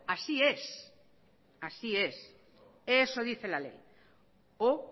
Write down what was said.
así es eso dice la ley o